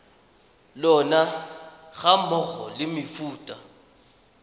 lona ga mmogo le mefuta